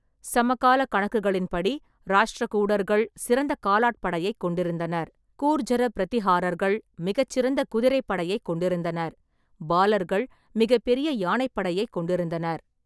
சமகாலக் கணக்குகளின்படி, ராஷ்டிரகூடர்கள் சிறந்த காலாட்படையைக் கொண்டிருந்தனர், கூர்ஜர பிரதிஹாரர்கள் மிகச்சிறந்த குதிரைப்படையைக் கொண்டிருந்தனர், பாலர்கள் மிகப்பெரிய யானைப் படையைக் கொண்டிருந்தனர்.